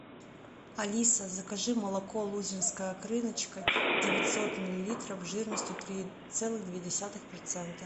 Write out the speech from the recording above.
алиса закажи молоко лузинская крыночка девятьсот миллилитров жирностью три целых две десятых процента